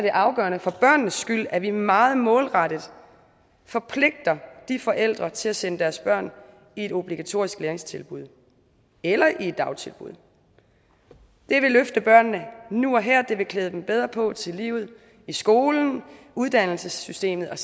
er afgørende for børnenes skyld at vi meget målrettet forpligter de forældre til at sende deres børn i et obligatorisk læringstilbud eller i et dagtilbud det vil løfte børnene nu og her og det vil klæde dem bedre på til livet i skolen i uddannelsessystemet og